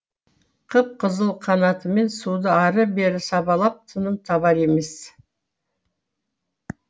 қып қызыл қанатымен суды ары бері сабалап тыным табар емес